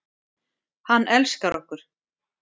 Hann elskar okkur.